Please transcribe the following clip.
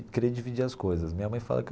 Querer dividir as coisas minha mãe fala que.